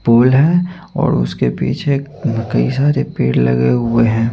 Pool है और उसके पीछे कई सारे पेड़ लगे हुए है।